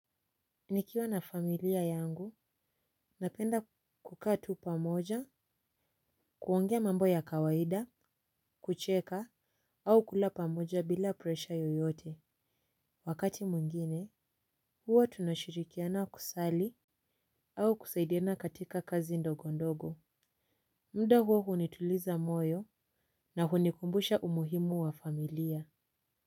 Nikiwa na familia yangu, napenda kukatu pamoja, kuongea mambo ya kawaida, kucheka, au kula pamoja bila presha yoyote. Wakati mwingine, huwa tunashirikiana kusali au kusaidiana katika kazi ndogo ndogo. Muda huo hunituliza moyo na hunikumbusha umuhimu wa familia.